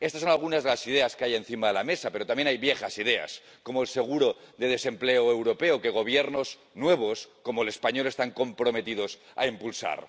Estas son algunas de las ideas que hay encima de la mesa, pero también hay viejas ideas, como el seguro de desempleo europeo, que gobiernos nuevos, como el español, están comprometidos a impulsar.